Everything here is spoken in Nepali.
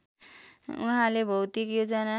उहाँले भौतिक योजना